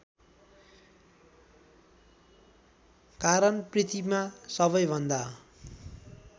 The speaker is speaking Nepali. कारण पृथ्वीमा सबैभन्दा